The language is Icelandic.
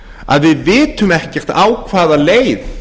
að við vitum ekkert á hvaða leið